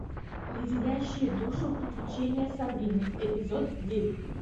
леденящие душу приключения сабрины эпизод девять